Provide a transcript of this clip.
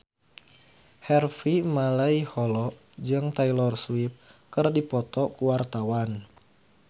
Harvey Malaiholo jeung Taylor Swift keur dipoto ku wartawan